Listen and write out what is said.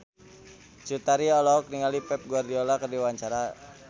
Cut Tari olohok ningali Pep Guardiola keur diwawancara